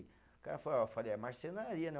O cara, eu falei, é marcenaria, né?